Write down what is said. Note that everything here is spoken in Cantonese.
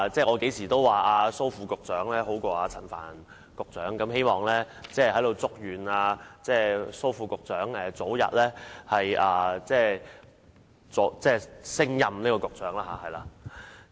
我經常說蘇副局長比陳帆局長好，我祝願蘇副局長早日升任局長。